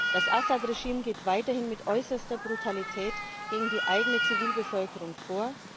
Das Assad Regime geht weiterhin mit äußerster Brutalität gegen die eigene Zivilbevölkerung vor.